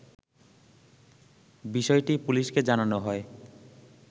বিষয়টি পুলিশকে জানানো হয়